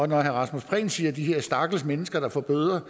når herre rasmus prehn siger de her stakkels mennesker der får bøder